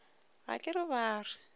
ga ke re ba re